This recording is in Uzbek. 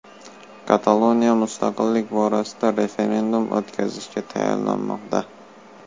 Kataloniya mustaqillik borasida referendum o‘tkazishga tayyorlanmoqda.